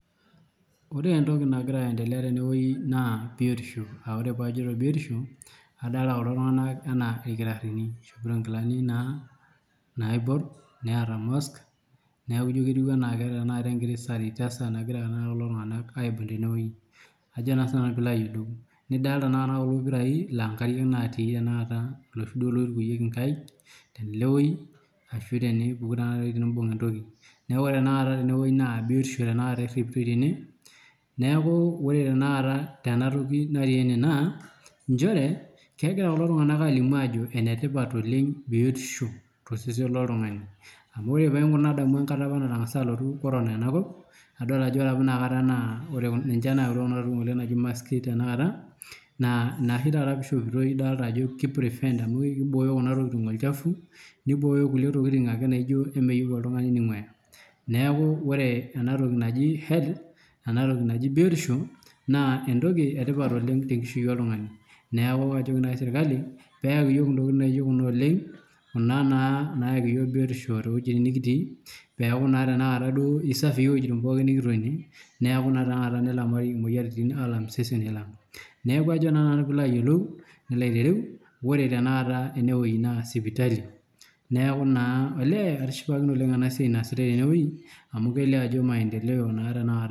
Ore entoki nagira aendelea tenewuei naa biotisho. Aah ore paajoito biotisho adolita kulo tung'anak anaa ilkitarrini, eishopoto nkilani naa naiborr, neeta mask neaku ijo ketiu anaake tenakata enkiti sanitizer nagira naa kulo tung'anak aabol tenewuei, ajo naa sinanu piiloayolou. Nidol tenakata kulo pirai laa nkariak natii tenakata loshi duo loitukuyieki nkaik telewuei ashu tenipuku tenakata tenewuei tenimbung' entoki. Neaku ore tenakata tenewuei naa biotisho tenakata erripitoi tene. Neaku ore tenakata tenatoki natii ene naa nchere kegira kulo tung'anak alimu ajo enetipat oleng' biotisho tosesen loltung'ani. Amu paing'orr nadamu enkata apa natang'asa alotu korona enakop, nadol ajo ore apa inakata naa ore [kun] ninche naautua tokitin ng'ole naji maski tenakata, naa inaoshi tata peishopitoi idolta ajo keiprivent amu eibooyo kuna tokitin olchafu nibooyo kulie tokitin ake naaijo emeyou oltung'ani neing'uaaya. Neaku ore enatoki naji health enatoki naji biotisho naa entoki etipat oleng' tenkishui oltung'ani. Neaku ajoki nai  sirkali peaki yiook intokitin naijo kuna oleng' kuna naa naaki yiok biotisho toowuejitin nikitii peaku naa tenakata duo eisafii iwuejitin pooki nikitonie neaku naa tenakata nelamari imoyaritin aalam iseseni lang'. Neaku ajo naa nanu piiloayolou nilo aitereu ore tenakata enewuei naa sipitali neaku naa olee atishipakine oleng' enasiai naasitai tenewuei amu kelio ajo maendeleo naa tenakata.